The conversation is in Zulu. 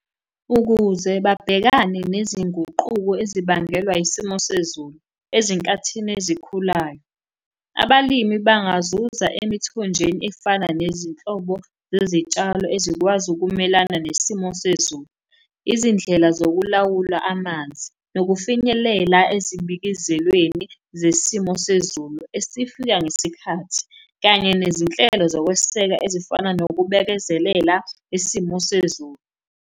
Ukuze babhekane nezinguquko ezibangelwa isimo sezulu ezinkathini ezikhulayo, abalimi bangazuza emithonjeni efana nezinhlobo zezitshalo ezikwazi ukumelana nesimo sezulu. Izindlela zokulawula amanzi nokufinyelela ezibikezelweni zesimo sezulu esifika ngesikhathi, kanye nezinhlelo zokweseka ezifana nokubekezelela isimo sezulu.